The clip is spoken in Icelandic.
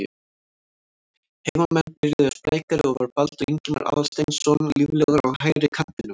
Heimamenn byrjuðu sprækari og var Baldur Ingimar Aðalsteinsson líflegur á hægri kantinum.